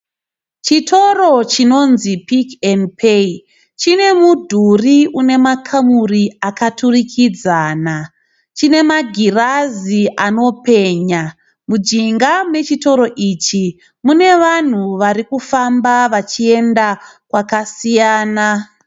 Chitoro chinonzi "Pick n Pay" chine midhuri une makamuri akaturikidzana. Chine magirazi anopenya. Mujinga mechitoro ichi mune vanhu vari kufamba vachienda kwakasiyana.